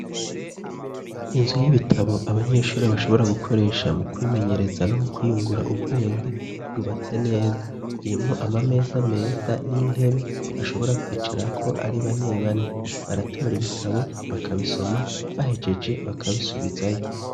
Inzu y'ibitabo abanyeshuri bashobora gukoresha mu kwimenyereza no mu kwiyungura ubwenge yubatse neza, irimwo amameza meza n'intebe bashobora kwicarako ari bane bane, baratora ibitabo bakabisoma bahegeje bakabisubizayo.